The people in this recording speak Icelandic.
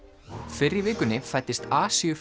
fyrr í vikunni fæddist